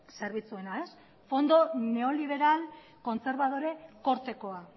zerbitzuena ez fondo neoliberal kontserbadore kortekoa